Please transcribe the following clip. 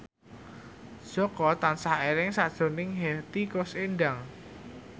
Jaka tansah eling sakjroning Hetty Koes Endang